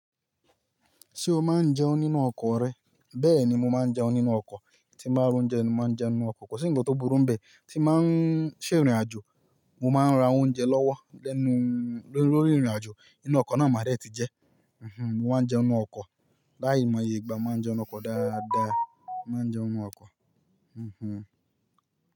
Ṣé o máa ń jẹun nínú ọkọ̀ rẹ? Bẹ́ẹ̀ ni mo máa ń jẹun nínú ọkọ̀. Tí mo máa ń róúnjẹ ni mo máa ń jẹun nínú ọkọ̀. Kò sí ńǹkan tó burú mbẹ̀ tí mo bá ń ṣe ìrìnàjò mo máa ń ra oúnjẹ lọ́wọ́ lẹnu lórí ìrìnàjò. Inú ọkọ̀ náà máa dẹ̀ tí jẹ. Mí má ń jẹun nínú ọkọ̀. Láì mọ iye, ìgbá máa jẹun nínú ọkọ̀ dáadáa. Máa jẹun nínú ọkọ̀.